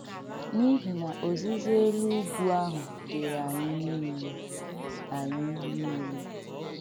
N’ihi na Ọzīzī Élụ Ùgwù àhụ̀ dị̀ị̀rị́ ànyị niile.” ànyị niile.”